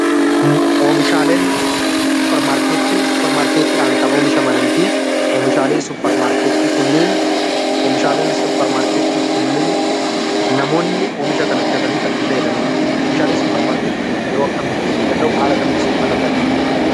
Oomishaaleen suupermaarkeetii, suupermaarkeetiin kan oomishamanii fi oomishaalee kunneen namoonni oomishaalee kunneen bitatanii akka itti fayyadamanidha. Meeshaalee suupermaarkeetii kan yeroo akkamii fayyaduu danda'u? Haala akkamiin fayyaduu danda'u?